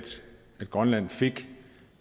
grønland fik